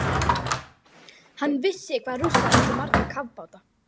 Hann vissi hvað Rússar áttu marga kafbáta.